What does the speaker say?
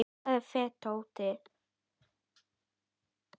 sá fetótti